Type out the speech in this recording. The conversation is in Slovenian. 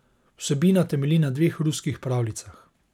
Vsebina temelji na dveh ruskih pravljicah.